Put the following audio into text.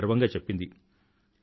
అని గర్వంగా చెప్పింది